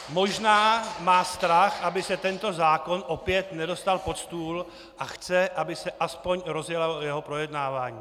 Možná má strach, aby se tento zákon opět nedostal pod stůl, a chce, aby se aspoň rozjelo jeho projednávání.